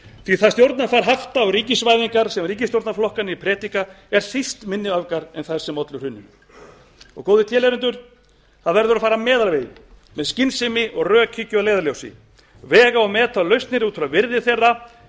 því að það stjórnarfar hafta og ríkisvæðingar sem ríkisstjórnarflokkarnir predika eru síst minni öfgar en þær sem ollu hruninu góðir tilheyrendur það verður að fara meðalveginn með skynsemi og rökhyggju að leiðarljósi vega og meta lausnir út frá virði þeirra